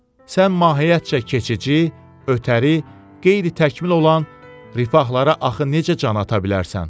sən mahiyyətcə keçici, ötəri, qeyri-təkmil olan rifahlara axı necə can ata bilərsən?